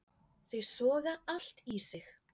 Þau soga allt í sig.